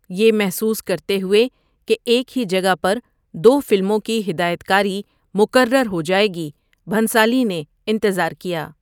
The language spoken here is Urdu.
یہ محسوس کرتے ہوئے کہ ایک ہی جگہ پر دو فلموں کی ہدایت کاری مکرر ہو جائے گی، بھنسالی نے انتظار کیا۔